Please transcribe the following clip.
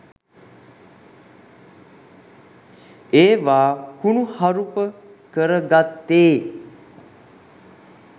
ඒවා කුණුහරුප කරගත්තේ